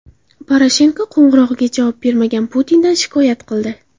Poroshenko qo‘ng‘irog‘iga javob bermagan Putindan shikoyat qildi.